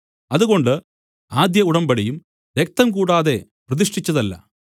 അതുകൊണ്ട് ആദ്യഉടമ്പടിയും രക്തം കൂടാതെ പ്രതിഷ്ഠിച്ചതല്ല